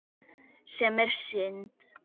Sem er synd.